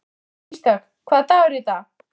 Ísdögg, hvaða dagur er í dag?